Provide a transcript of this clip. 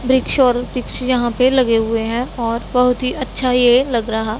वृक्ष और वृक्ष यहां पे लगे हुए हैं और बहुत ही अच्छा ये लग रहा--